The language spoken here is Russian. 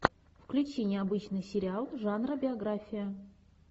включи необычный сериал жанра биография